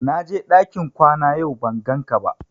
Na je ɗakin kwana yau ban gan ka ba